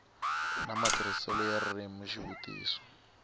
na matirhiselo ya ririmi xivutiso